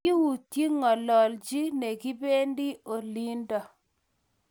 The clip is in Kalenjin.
Kiutye ngolyonyi nekibendi olindo